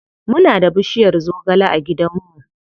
Muna da bushiyar zogale a gidan mu.